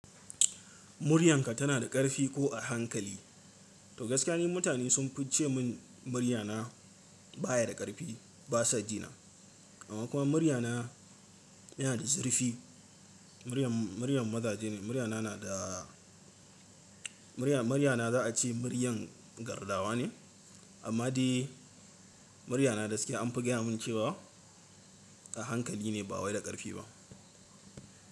Muryanka tana da ƙarfi ko a hankali? To gaskiya ne mutane sun fi ce min muryana baya da ƙarfi ba sa ji na. Amma kuma muryana yana da zurfi. Muryan maza je ne, muryana za a ce muryar gardawa ne, amma dai muryana da gaskiya an fi gaya mun cewa a hankali ne ba waye da ƙarfi ba.